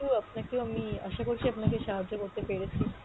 তো আপনাকেও আমি আশা করছি আপনাকে সাহায্য করতে পেরেছি।